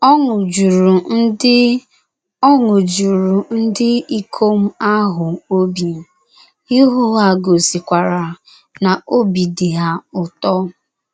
Ọṅụ juru ndị Ọṅụ juru ndị ikom ahụ obi, ihu ha gosikwara na obi dị ha ụtọ.